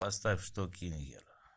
поставь штокингер